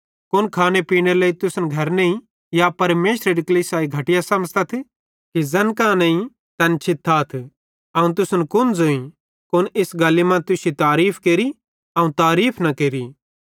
कुन खाने पीनेरे लेइ तुसन घर नईं या परमेशरेरी कलीसियाई घटिया समझ़तथ कि ज़ैन कां नईं तैन छितातथ अवं तुसन कुन ज़ोईं कुन इस गल्ली मां तुश्शी तारीफ़ केरि अवं तारीफ़ न केरि